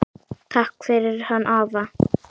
Takk fyrir hann afa.